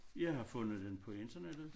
Jeg har fundet den på internettet